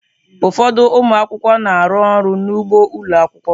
Ụfọdụ ụmụ akwụkwọ na-arụ ọrụ n'ugbo ụlọ akwụkwọ.